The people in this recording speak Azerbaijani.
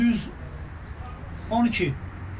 100 12.